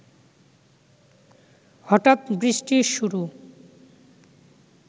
হঠাৎ বৃষ্টির শুরু